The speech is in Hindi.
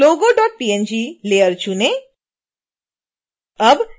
पुनः logopng layer चुनें